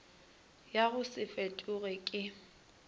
ya go se fetoge ke